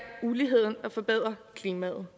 uligheden og forbedre klimaet